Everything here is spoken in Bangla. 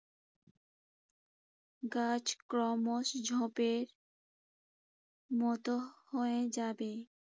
গাছ ক্রমশ ঝোঁপের মতো হয়ে যাবে।